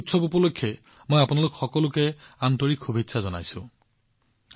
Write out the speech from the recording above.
এই উৎসৱ উপলক্ষে মই আপোনালোক সকলোকে উষ্ম শুভেচ্ছা জনাইছো